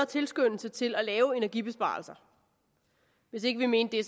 tilskyndelse til at lave energibesparelser hvis ikke vi mente det